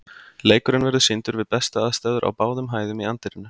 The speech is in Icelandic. Leikurinn verður sýndur við bestu aðstæður á báðum hæðum í anddyrinu.